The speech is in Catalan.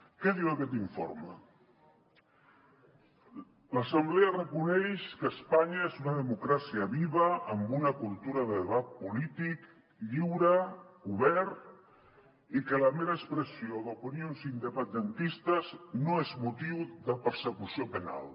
què diu aquest informe l’assemblea reconeix que espanya és una democràcia viva amb una cultura de debat polític lliure obert i que la mera expressió d’opinions independentistes no és motiu de persecució penal